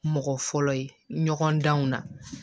Mɔgɔ fɔlɔ ye ɲɔgɔn danw na